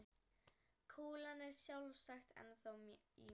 Kúlan er sjálfsagt ennþá í mér.